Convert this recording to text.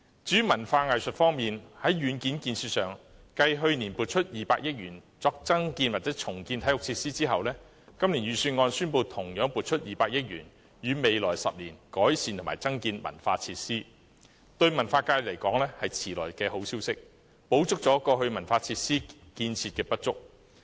至於文化藝術方面，在硬件建設上，繼去年撥出200億元作增建或重建體育設施後，今年預算案宣布同樣撥出200億元予未來10年改善和增建文化設施，對文化界而言是遲來的好消息，補足了過去文化設施建設的不足。